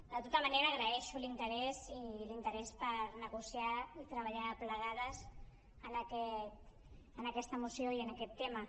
de tota manera agraeixo l’interès i l’interès per negociar i treballar plegades en aquesta moció i en aquest tema